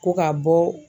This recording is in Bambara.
Ko ka bɔ